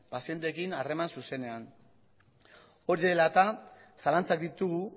pazienteekin harreman zuzenean hori dela eta zalantzak ditugu